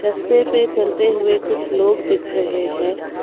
रास्ते पे चलते हुए कुछ लोग दिख रहे हैं।